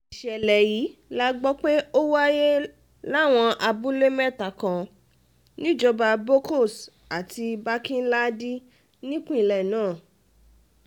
ìṣẹ̀lẹ̀ yìí la gbọ́ pé ó wáyé láwọn abúlé mẹ́ta kan níjọba bokkos àti barkin-ladi nípìnlẹ̀ náà